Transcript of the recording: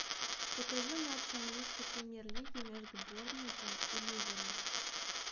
покажи матч английской премьер лиги между борнмутом и ливером